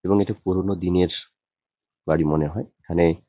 এবং এটা পুরনো দিনের বাড়ি মনে হয় এখানে --